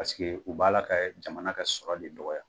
Paseke u b'a la kaa jamana ka sɔrɔ de dɔgɔya.